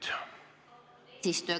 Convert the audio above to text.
Hea eesistuja!